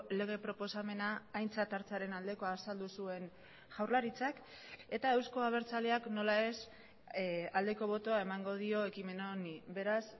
lege proposamena aintzat hartzearen aldekoa azaldu zuen jaurlaritzak eta euzko abertzaleak nola ez aldeko botoa emango dio ekimen honi beraz